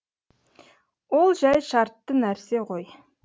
ол жәй шартты нәрсе ғой